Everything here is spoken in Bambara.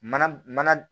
Mana mana